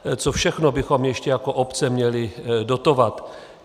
Co všechno bychom ještě jako obce měli dotovat?